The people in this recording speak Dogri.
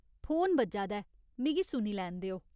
फोन बज्जा दा ऐ, मिगी सुनी लैन देओ ।